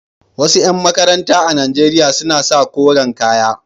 Wasu ƴan makaranta a Najeriya suna sa koren kaya.